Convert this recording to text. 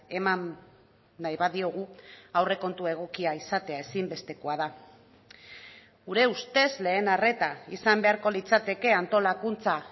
eman nahi badiogu aurrekontu egokia izatea ezinbestekoa da gure ustez lehen arreta izan beharko litzateke antolakuntza